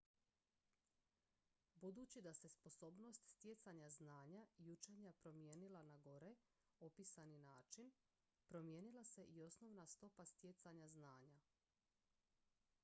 budući da se sposobnost stjecanja znanja i učenja promijenila na gore opisani način promijenila se i osnovna stopa stjecanja znanja